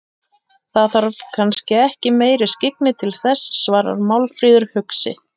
Það þarf kannski ekki meiri skyggni til þess, svarar Málfríður hugsi.